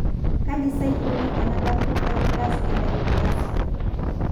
Kaji sa eikoni tenebaki eFibrous edysplasia?